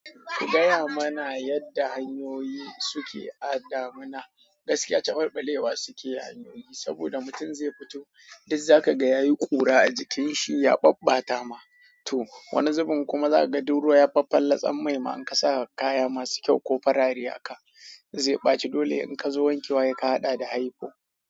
Ki gaya mana yadda hanyoyi suke a ɗamana gaskiya. Cabal ɓalewa suke a hanyoyi saboda mutum zai fito duk za ka ga yayi kura a jikin shi ya ɓabbata ma to wani zubin kuma za ka ga duk ruwa ya faffalatsam mai ma in ka sa kaya masu kyau ko farare a ka zai ɓaci dole in ka zo wankewa sai ka haɗa da haipo.